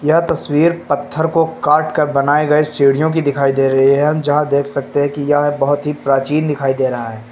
यह तस्वीर पत्थर को काटकर बनाए गए सीढ़ियों की दिखाई दे रही है हम जहां देख सकते हैं कि यह बहोत ही प्राचीन दिखाई दे रहा है।